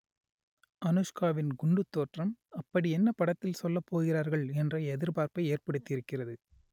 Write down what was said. அனுஷ்காவின் குண்டுத் தோற்றம் அப்படியென்ன படத்தில் சொல்லப் போகிறார்கள் என்ற எதிர்பார்ப்பை ஏற்படுத்தியிருக்கிறது